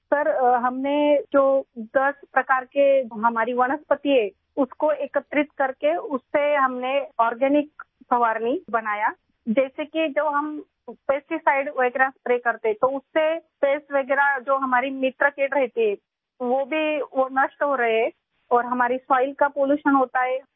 سر ، ہمارے پاس موجود دس اقسام کی پودوں کو اکٹھا کر کے ، ہم نے اس سے ایک نامیاتی اسپرے بنایا، جیسے کہ ہم کیڑے مار دوا وغیرہ چھڑکتے ہیں تو اس سے ہمارے دوست کیڑے مکوڑے بھی تباہ ہو جاتے ہیں اور ہماری مٹی بھی آلودہ ہو جاتی ہے